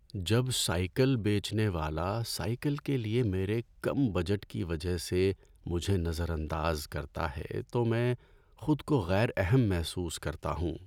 جب سائیکل بیچنے والا سائیکل کے لیے میرے کم بجٹ کی وجہ سے مجھے نظر انداز کرتا ہے تو میں خود کو غیر اہم محسوس کرتا ہوں۔